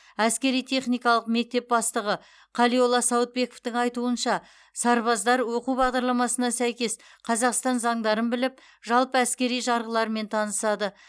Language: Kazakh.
әскери техникалық мектеп бастығы қалиолла сауытбековтің айтуынша сарбаздар оқу бағдарламасына сәйкес қазақстан заңдарын біліп жалпы әскери жарғылармен танысады